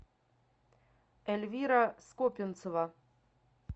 эльвира скопинцева